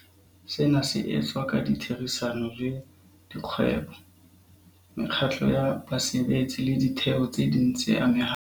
Sena se etswa ka ditherisano le dikgwebo, mekgatlo ya basebetsi le ditheo tse ding tse amehang.